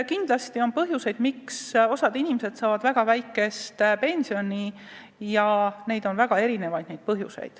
Kindlasti on põhjuseid, miks osa inimesi saab väga väikest pensioni, väga erinevaid.